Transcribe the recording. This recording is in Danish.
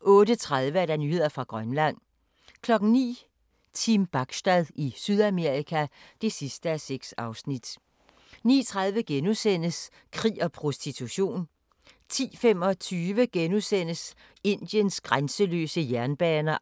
08:30: Nyheder fra Grønland 09:00: Team Bachstad i Sydamerika (6:6) 09:30: Krig og prostitution * 10:25: Indiens grænseløse jernbaner